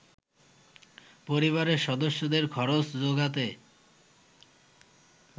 পরিবারের সদস্যদের খরচ যোগাতে